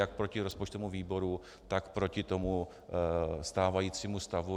Jak proti rozpočtovému výboru, tak proti tomu stávajícímu stavu.